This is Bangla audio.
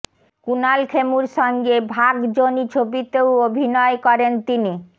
কুণাল খেমুর সঙ্গে ভাগ জনি ছবিতেও অভিনয় করেন তিনি